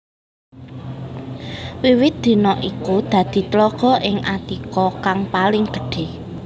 Wiwit dina iku dadi tlaga ing Attika kang paling gedhé